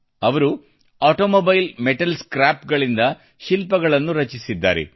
ಅವರು automobile metal ಸ್ಕ್ರಾಪ್ಗಳಿಂದ ಶಿಲ್ಪಗಳನ್ನು ರಚಿಸಿದ್ದಾರೆ